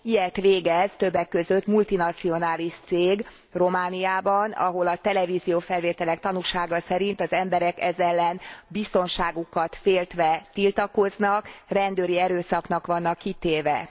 Ilyet végez többek között multinacionális cég Romániában, ahol a televízió felvételek tanúsága szerint az emberek ez ellen biztonságukat féltve tiltakoznak, rendőri erőszaknak vannak kitéve.